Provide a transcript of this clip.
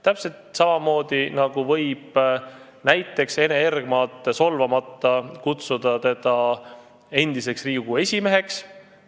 Täpselt samamoodi võib näiteks Ene Ergmat solvamata kutsuda endiseks Riigikogu esimeheks.